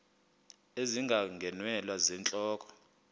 ezinga ngeenwele zentloko